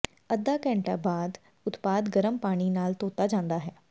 ਅੱਧਾ ਘੰਟੇ ਬਾਅਦ ਉਤਪਾਦ ਗਰਮ ਪਾਣੀ ਨਾਲ ਧੋਤਾ ਜਾਂਦਾ ਹੈ